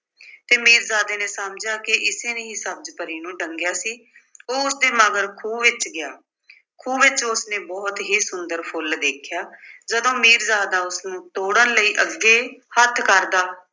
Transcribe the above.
ਤੇ ਮੀਰਜ਼ਾਦੇ ਨੇ ਸਮਝਿਆ ਕਿ ਏਸੇ ਨੇ ਹੀ ਸਬਜ਼ ਪਰੀ ਨੂੰ ਡੰਗਿਆ ਸੀ। ਉਹ ਉਸਦੇ ਮਗਰ ਖੂਹ ਵਿੱਚ ਗਿਆ। ਖੂਹ ਵਿੱਚ ਉਸਨੇ ਬਹੁਤ ਹੀ ਸੁੰਦਰ ਫੁੱਲ ਦੇਖਿਆ, ਜਦੋਂ ਮੀਰਜ਼ਾਦਾ ਉਸਨੂੰ ਤੋੜਨ ਲਈ ਅੱਗੇ ਹੱਥ ਕਰਦਾ